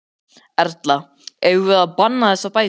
Erla: Eigum við að banna þessar bækur?